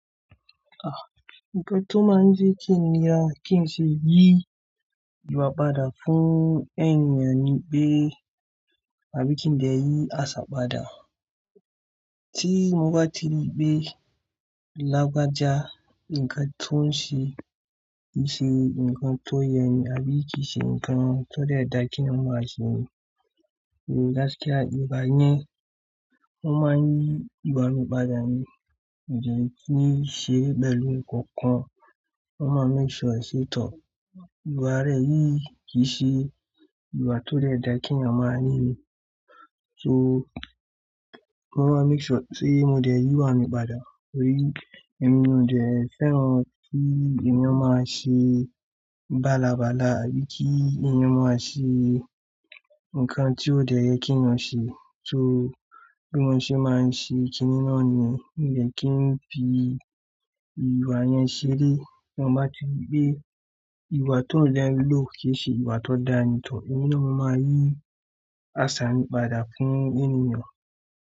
Ah! Ǹkan tó máa ń jẹ́ kí n yàn kí n ṣe yí ìwà padà fún ènìyàn ní pé àbí kí n dẹ̀ yí àṣà padà. Tí mo bá ti rí pé lagbaja ǹkan tó ń ṣe, kìí ṣe ǹkan tó yẹ ní àbí kìí ṣe ǹkan tó dẹ́dà kí ènìyàn máa ṣe ní. Gásìkíà ìgbà yẹn, wọ́n máa ń yí ìbá ni ìpàdà ni. Kìí ṣe pẹ̀lù kankan, wọ́n máa ń make sure ó ṣé tọ́. Ìwà rẹ yìí kì í ṣe ìwà tó dẹ́dà kí ènìyàn máa ní. So wọ́n máa make sure sé mo dẹ̀ yí ìwà mi padà. Torí, èmi ò dẹ fẹ́ran kí ènìyàn máa ṣe bá là bá là àbí kí ènìyàn máa ṣe ǹkan tí ò dẹ yẹ kí ènìyàn ṣe. So bí wọ́n ṣe máa ń ṣe kíni náà niyẹn, mo dẹ̀ kí n fi ìwà yẹn ṣeré. Tí wọ́n bá ti rí pé ìwà tó dẹ́ ń lò kì í ṣe ìwà tó dáni tọ́, èmi náà máa ní àṣà mí pàdà fún ènìyàn.